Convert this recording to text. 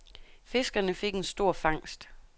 Fiskerne fik en stor fangst.